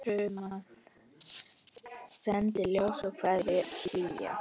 Sendi ljós og kveðju hlýja.